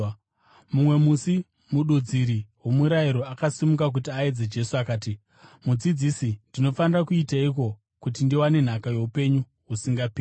Mumwe musi mududziri womurayiro akasimuka kuti aedze Jesu. Akati, “Mudzidzisi ndinofanira kuiteiko kuti ndiwane nhaka youpenyu husingaperi?”